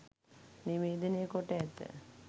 නිවේදනය කොට ඇත